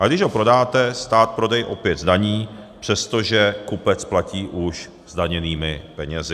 A když ho prodáte, stát prodej opět zdaní, přestože kupec platí už zdaněnými penězi.